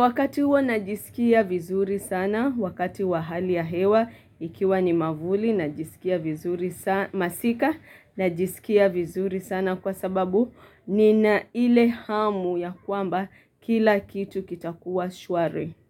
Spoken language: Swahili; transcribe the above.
Wakati huo najisikia vizuri sana Wakati wahali ya hewa Ikiwa ni mavuli Najisikia vizuri sana masika Najisikia vizuri sana Kwa sababu Nina ile hamu ya kwamba Kila kitu kitakuwa shwari.